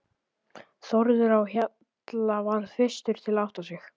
Þórður á Hjalla varð fyrstur til að átta sig.